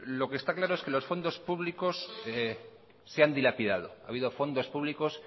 lo que está claro es que los fondos públicos se han dilapidado ha habido fondos públicos